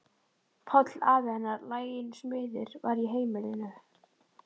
Páll afi hennar, laginn smiður, var í heimilinu.